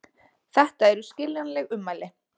Þetta eru skiljanleg ummæli